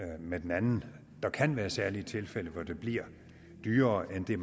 med den anden der kan være særlige tilfælde hvor det bliver dyrere end det